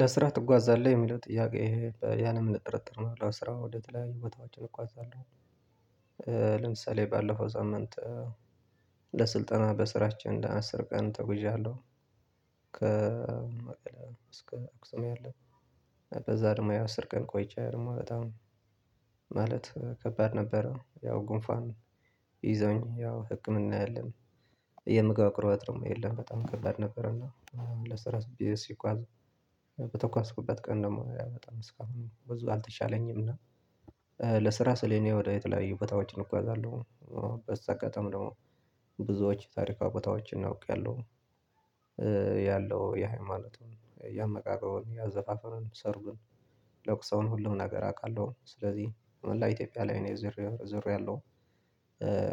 ለስራ ትጓዛለህ የሚለው ጥያቄ ያለ ምንም ጥርጥር ነው ለስራ ወደ ትለያዩ ቦታዎችን እጓዛለሁ ለምሳሌ ባለፈው ሳምንት ለስልጠና በስራችን አስር ቀን ተጉዣለሁ ከ መቀሌ እስከ አክሱም ያለ በዛ ደግሞ አስር ቀን ቆይቼ ነው በጣም ማለት ከባድ ነበረ ያው ጉንፋን ይዞኝ ያው ህክምና የለም። የምግብ አቅርቦት ደግሞ የለም በጣም ከባድ ነበር። እና ለስራ አስቤ ስጓዝ በተጓዝኩበት ቀን ደግሞ ያው በጣም እስካሁን ብዙ አልተሻለኝም። እና ለስራ ስል እኔ ወደ የተለያዩ ቦታዎች እጓዛለሁ። በዛ አጋጣሚ ደግሞ ብዙዎች ታሪካዊ ቦታዎችን እውቄያለሁ። ያለው የሃይማኖቱን ያመጋገቡን ያዘፋፈኑን ሰርጉን ለቅሶውን ሁሉም ነገር አውቃለሁ። ስለዚህ መላ ኢትዮጵያ ላይ እኔ ዙሬያለሁ።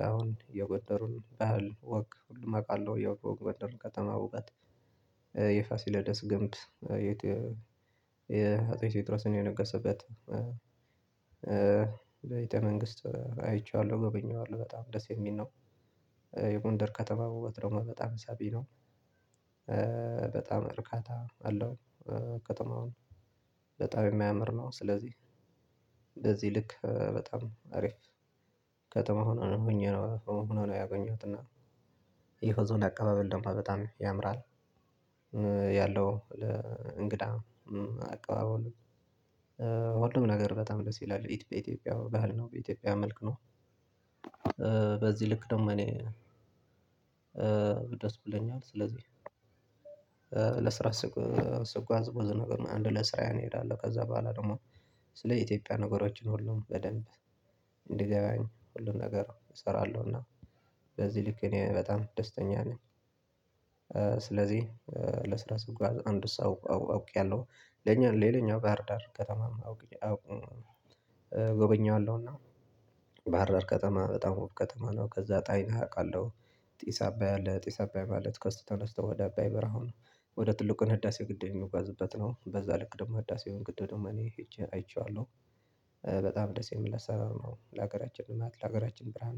አሁን የገጠሩን ባህል ወግ ሁሉም አውቃለሁ። የጎደሩን ከተማ ውበት የፋሲለደስ ግንብ የአጼን ቴዎድሮስ የነገሰበት ቤተ መንግስት አይቼዋለሁ። ጎበኘዋለሁ በጣም ደስ የሚል ነው። የጎንደር ከተማ ውበት ደግሞ በጣም ሳቢ ነው። በጣም እርካታ አለው። ከተማውም በጣም የሚያምር ነው። ስለዚህ በዚህ ልክ በጣም አሪፍ ከተማ ሆኖ ሆኜ ነው ሆኖ ነው ያገኘሁት። እና የህዝቡን አቀባበል ደግሞ በጣም ያምራል። ያለው እንግዳ አቀባበል ሁሉም ነገር በጣም ደስ ይላል። ኢትዮጵያ ባህል ነው። በኢትዮጵያ መልክ ነው። በዚህ ልክ ደግሞ እኔ ደስ ብለኛል። ስለዚህ ለስራ ስጓዝ ብዙ ነገር አንድ ለስራ እሄዳለሁ ከዛ በኋላ ደግሞ ስለ ኢትዮጵያ ነገሮችን ሁሉም በደንብ እንዲገባኝ ሁሉን ነገር እሰራለሁ። እና በዚህ ልክ እኔ በጣም ደስተኛ ነኝ። ስለዚህ ለስራ ስጓዝ አንድ ሰው አውቄያለሁ። ለኛ ሌላኛው ባህር ዳር ከተማ አውቅኩኝ አውቅኩኝ እጎበኘዋለሁ። እና ባህር ዳር ከተማ በጣም ውብ ከተማ ነው። ከዛ ጣናን አውቃለሁ። ጢስ አባይ አለ ጢስ አባይ ማለት ከስቶ ተነስቶ ወደ አባይ በረሃው ነው ወደ ትልቁን ህዳሴ ግድ የሚወጋዝበት ነው። በዛ ልክ ደግሞ ህዳሴውን ግድ ደግሞ እኔ ሄጄ አይቼዋለሁ። በጣም ደስ የምል አሰራር ነው። ለሀገራችን ልማት ለሀገራችን ብርሃን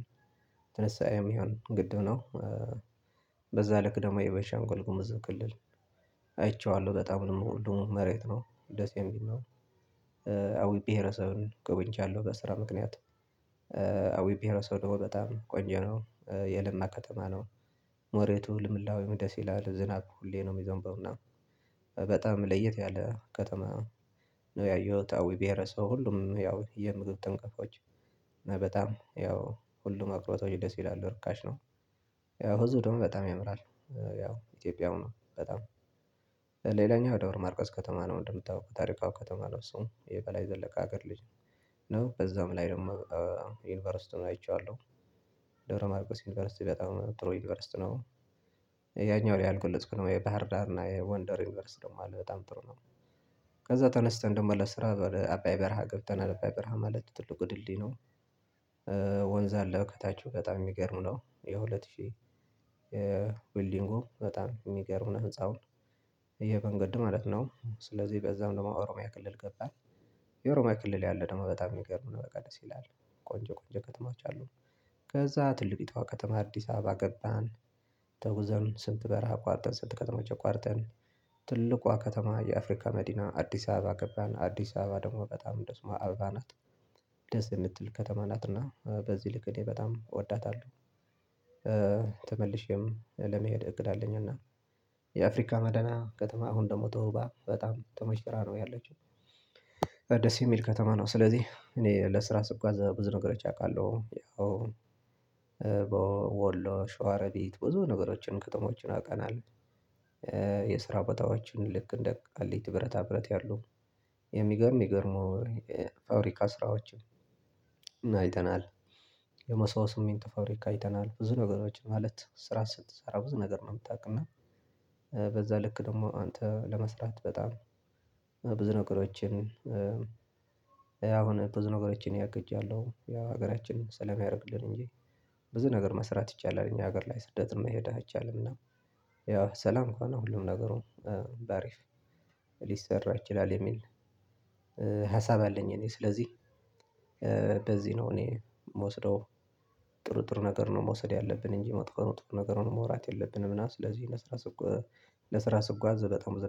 ትንሳኤ የሚሆን ግድብ ነው። በዛ ልክ ደግሞ የቤንሻንጉል ጉምዝ ክልል አይቼዋለሁ። በጣም የምወደው መሬት ነው። ደስ የሚል ነው። አዊ ብሄረሰብን ጎብኝቻለሁ በስራ ምክንያት። አዊ ብሄረሰብ ደግሞ በጣም ቆንጆ ነው። የለማ ከተማ ነው። መሬቱ ልምላላሜው ደስ ይላል። ዝናብ ሁሌ ነው የሚዘንበው። እና በጣም ለየት ያለ ከተማ ነው ያየሁት አዊ ብሄረሰብ ሁሉም ያው የምግብ እንቅፋቶች በጣም ያው ሁሉም አቅርቦቶች ደስ ይላሉ ርካሽ ነው፤ ያው ህዝብ ደግሞ በጣም ያምራል። ያው ኢትዮጵያዊ ነው በጣም። ሌላኛው ደብረ ማርቆስ ከተማ ነው። እንደምታውቁ ታሪካዊ ከተማ ነው እሱም የበላይ ዘለቀ ሀገር ልጅ ነው በዛውም ላይ ደግሞ ዩንቨርሲቲውን አይቼዋለሁ። ደብረ ማርቆስ ዩኒቨርሲቲ በጣም ጥሩ ዩኒቨርሲቲ ነው። ያኛው ላይ አልገለጽኩም የባህር ዳር እና የጎንደር ዩኒቨርስ ደግሞ አለ በጣም ጥሩ ነው። ከዛ ተነስተን ደግሞ ለስራ ወደ አባይ በረሃ ገብተናል። አባይ በረሃ ማለት ትልቁ ድልድይ ነው። ወንዝ አለ ከታች። በጣም የሚገርም ነው። የሁለት ሺህ የቢዩልዲንጉ በጣም የሚገርም ነው ህፃውን። የመንገድ ማለት ነው ስለዚህ በዛም ደግሞ ኦሮሚያ ክልል ገባን የኦሮሚያ ክልል ያለ ደግሞ በጣም የሚገርመን በቃ ደስ ይላል። ቆንጆ ቆንጆ ከተማዎች አሉ። ከዛ ትልቂቷ ከተማ አዲስ አበባ ገባን። ተጉዘን ስንት በረሃ አቋርጠን ስንት ከተማዎች አቋርጠን ትልቋ ከተማ የአፍሪካ መዲና አዲስ አበባ ገባን። አዲስ አበባ ደግሞ በጣም እንደስሟ አበባ ናት። ደስ የምትል ከተማ ናት። እና በዚህ ልክ እኔ በጣም እወዳታለሁ። ተመልሼም ለመሄድ እቅድ አለኝ። እና የአፍሪካ መዲና ከተማ አሁን ደግሞ ተውባ በጣም ተሞሽራ ነው ያለችው። ደስ የሚል ከተማ ነው። ስለዚህ እኔ ለስራ ስጓዝ ብዙ ነገሮች አውቃለሁ። ያው በወሎ ሸዋረቢት ብዙ ነገሮችን ከተሞችን አውቀናል። የስራ ቦታዋችን ልክ እንደ ቃሊቲ ብረታ ብረት ያሉ የሚገርም የሚገርመው ፋብሪካ ስራዎችን አይተናል። የመሰቦት ስሚንቶ ፋብሪካ አይተናል። ብዙ ነገሮች ማለት ስራ ስትሰራ ብዙ ነገር ነው የምታውቅ። እና በዛ ልክ ደግሞ አንተ ለመስራት በጣም ብዙ ነገሮችን አሁን ብዙ ነገሮችን እኔ አቅጃለሁ። ያ ሀገራችንን ሰላም ያደርግልን እንጂ ብዙ ነገር መስራት ይቻላል እኛ ሀገር ላይ ስደት መሄድ አይቻልም። እና ያው ሰላም ከሆነ ሁሉም ነገር በአሪፍ ሊሰራ ይችላል የሚል ሀሳብ አለኝ እኔ። ስለዚህ በዚህ ነው እኔ የምወስደው። ጥሩጥሩ ነገር ነው መውሰድ ያለብን እንጂ መጥፎ መትፎ ነገሩን ማውራት የለብንም። እና ስለዚህ ለስራ ስጓዝ በጣም ብዙ